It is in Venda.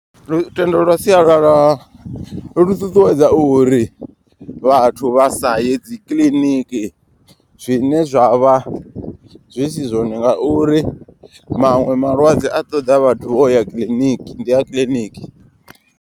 Lutendo lwa sialala lu ṱuṱuwedza uri vhathu vha sa ye dzikiḽiniki. Zwine zwa vha zwi si zwone nga uri maṅwe malwadze a ṱoḓa vhathu vho ya kiḽiniki ndi a kiḽiniki.